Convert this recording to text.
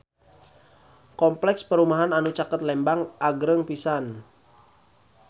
Kompleks perumahan anu caket Lembang agreng pisan